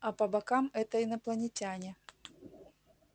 а по бокам это инопланетяне